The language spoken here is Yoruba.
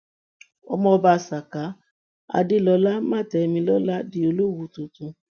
ọmọ ọba saka adelola mátẹmilọlá di olówu tuntun